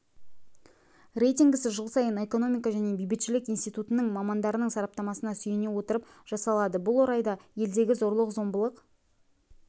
рейтингісі жыл сайын экономика және бейбітшілік институтының мамандарының сараптамасына сүйене отырып жасалады бұл орайда елдегі зорлық-зомбылық